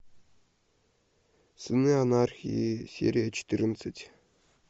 сыны анархии серия четырнадцать